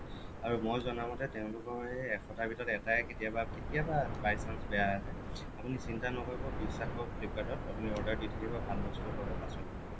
আৰু মই জনা মতে তেওঁলোকৰ এই এশটাৰ ভিতৰত এটাই কেতিয়াবা কেতিয়াবা by chance বেয়া আহে আপুনি চিন্তা নকৰিব বিশ্বাস ৰাখক flipkart ত আপুনি order দি থাকিব ভাল বস্তু পাব পাছলৈ